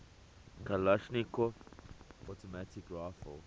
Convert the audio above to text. kalashnikov automatic rifle